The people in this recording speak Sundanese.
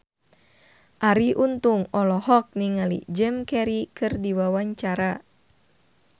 Arie Untung olohok ningali Jim Carey keur diwawancara